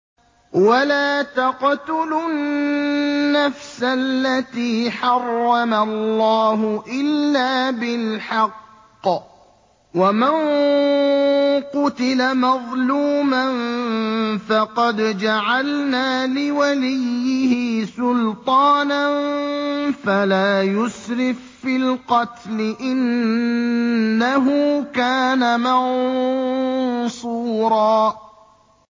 وَلَا تَقْتُلُوا النَّفْسَ الَّتِي حَرَّمَ اللَّهُ إِلَّا بِالْحَقِّ ۗ وَمَن قُتِلَ مَظْلُومًا فَقَدْ جَعَلْنَا لِوَلِيِّهِ سُلْطَانًا فَلَا يُسْرِف فِّي الْقَتْلِ ۖ إِنَّهُ كَانَ مَنصُورًا